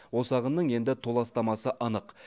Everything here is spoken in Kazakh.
осы ағынның енді толастамасы анық